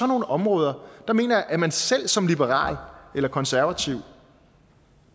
nogle områder mener jeg at man selv som liberal eller konservativ